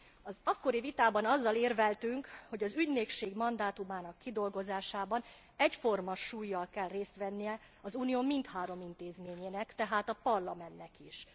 Az akkori vitában azzal érveltünk, hogy az ügynökség mandátumának kidolgozásában egyforma súllyal kell részt vennie az Unió mindhárom intézményének, tehát a Parlamentnek is.